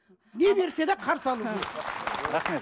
не берсе де қарсы алу керек